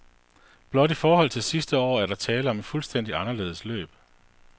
Blot i forhold til sidste år er der tale om et fuldstændig anderledes løb.